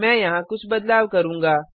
मैं यहाँ कुछ बदलाव करूँगा